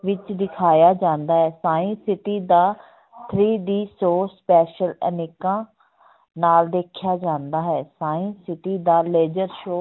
ਵਿੱਚ ਦਿਖਾਇਆ ਜਾਂਦਾ ਹੈ science city ਦਾ three D show special ਐਨਕਾਂ ਨਾਲ ਦੇਖਿਆ ਜਾਂਦਾ ਹੈ science city ਦਾ ਲੇਜ਼ਰ show